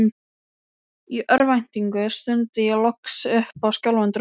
Í örvæntingu stundi ég loks upp skjálfandi rómi